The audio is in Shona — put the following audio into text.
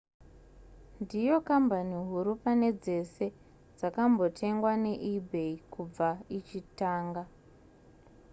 ndiyo kambani huru pane dzese dzakambotengwa neebay kubva ichitanga